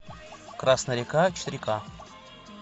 красная река четыре ка